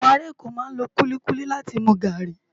Awòn àrá Èkó má n ló kúlikúli láti mú gári